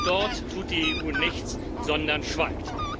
Auch dort tut die EU nichts, sondern schweigt.